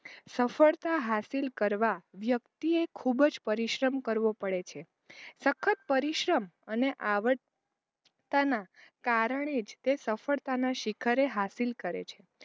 સફળતા હાસિલ કરવા વ્યક્તિ એ ખૂબ જ પરિશ્રમ કરવો પડે છે સખત પરિશ્રમ અને આવડ્તાનાં કારણે જ તે સફળતાનાં શિખરે હાસિલ કરે છે.